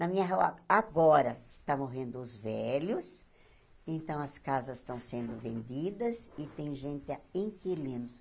Na minha rua, agora, estão morrendo os velhos, então, as casas estão sendo vendidas e tem gente, inquilinos.